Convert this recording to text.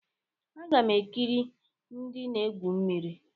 Aga m ekiri ndị na-egwu mmiri.